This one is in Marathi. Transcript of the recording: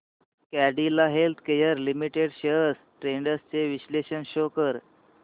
Cadila healthcare limited shares trends चे विश्लेषण शो कर